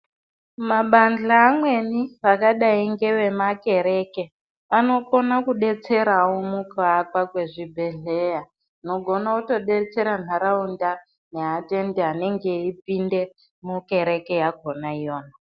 Mabandla amweni akadai ngevemakereke ,anokone kudetserawo mukuakwa kwezvibhedhleya, zvinogona kutodetsera nharaunda neatendi anenge eipinde mukereke yakhona iyo.